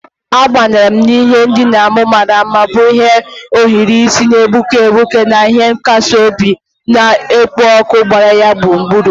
Abanyere m n'ihe ndina m mara mma, bụ́ ndị ohiri isi na-egbuke egbuke na ihe nkasi obi na-ekpo ọkụ gbara ya gburugburu.